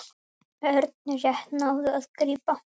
Örn rétt náði að grípa.